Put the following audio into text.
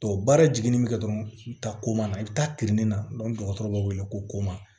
baara jiginni bɛ kɛ dɔrɔn u bɛ taa komana i bɛ taa kiiri nin na dɔgɔtɔrɔ b'a wele ko